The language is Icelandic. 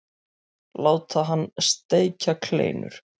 Láta hann steikja kleinur.